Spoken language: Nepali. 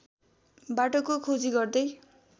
बाटोको खोजी गर्दै